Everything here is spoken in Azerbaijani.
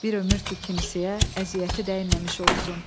Bir ömür ki kimsəyə əziyyəti dəyməmiş olsun.